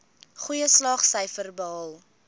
goeie slaagsyfers behaal